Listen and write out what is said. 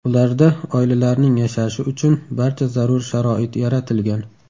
Ularda oilalarning yashashi uchun barcha zarur sharoit yaratilgan.